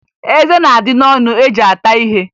Eze na-adị n'ọnụ eji ata ihe